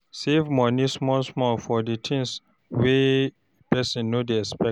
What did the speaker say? Save money small small for di things wey person no dey expect